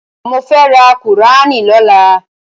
Mo fẹ́ rà kùúránì lọ́la.